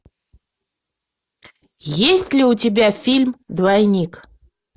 есть ли у тебя фильм двойник